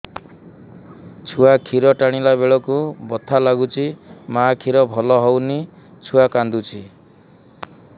ଛୁଆ ଖିର ଟାଣିଲା ବେଳକୁ ବଥା ଲାଗୁଚି ମା ଖିର ଭଲ ହଉନି ଛୁଆ କାନ୍ଦୁଚି